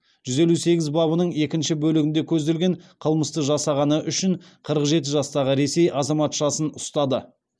жүз елу сегіз бабының екінші бөлігінде көзделген қылмысты жасағаны үшін қырық жеті жастағы ресей азаматшасын ұстады